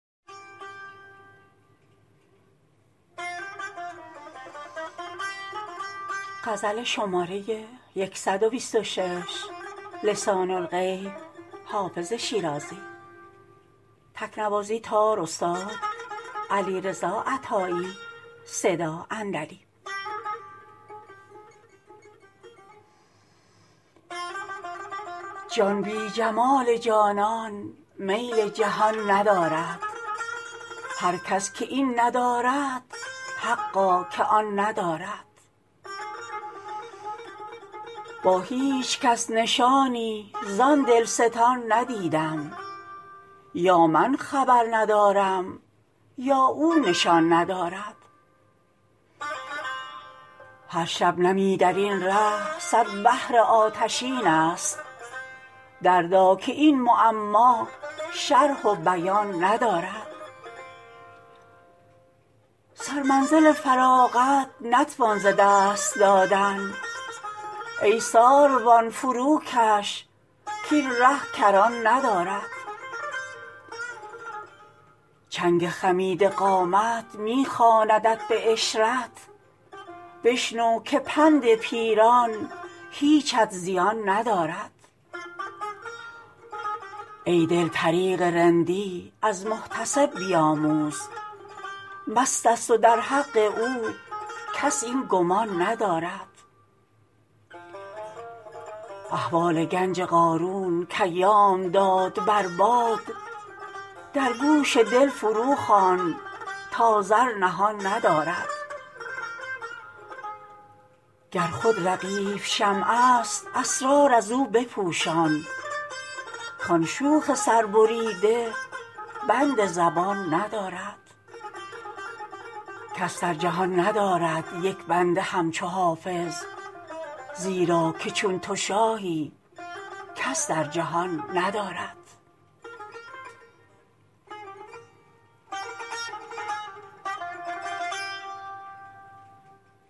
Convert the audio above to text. جان بی جمال جانان میل جهان ندارد هر کس که این ندارد حقا که آن ندارد با هیچ کس نشانی زان دلستان ندیدم یا من خبر ندارم یا او نشان ندارد هر شبنمی در این ره صد بحر آتشین است دردا که این معما شرح و بیان ندارد سرمنزل فراغت نتوان ز دست دادن ای ساروان فروکش کاین ره کران ندارد چنگ خمیده قامت می خواندت به عشرت بشنو که پند پیران هیچت زیان ندارد ای دل طریق رندی از محتسب بیاموز مست است و در حق او کس این گمان ندارد احوال گنج قارون کایام داد بر باد در گوش دل فروخوان تا زر نهان ندارد گر خود رقیب شمع است اسرار از او بپوشان کان شوخ سربریده بند زبان ندارد کس در جهان ندارد یک بنده همچو حافظ زیرا که چون تو شاهی کس در جهان ندارد